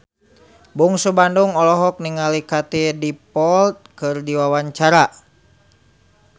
Bungsu Bandung olohok ningali Katie Dippold keur diwawancara